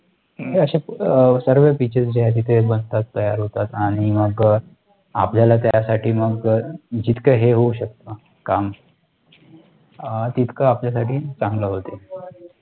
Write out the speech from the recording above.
हे अशे सर्व PITCHES जे आहे तिथे बनतात, तयार होतात, आणि मग आपल्याला त्यासाठी मग जितक हे होऊ शकते, काम, तितकं आपल्यासाठी चांगलं, होते,